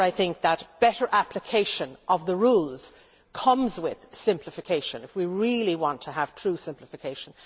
Therefore, I think that better application of the rules comes with simplification, if we really want to have true simplification.